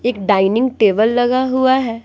एक dining table लगा हुआ है।